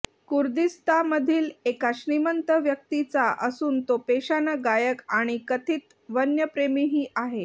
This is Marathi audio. कुर्दीस्तामधील एका श्रीमंत व्यक्तीचा असून तो पेशानं गायक आणि कथीत वन्यप्रेमीही आहे